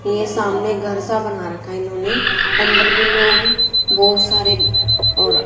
ये सामने घर सा बना रखा इन्होंने अंदर भी लोग बहुत सारे और--